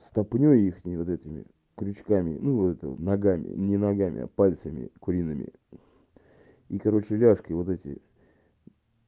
ступнёй их вот этими крючками ну это ногами не ногами а пальцами куриными и короче ляжки вот эти